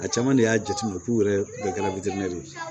A caman de y'a jateminɛ k'u yɛrɛ bɛɛ kɛ ye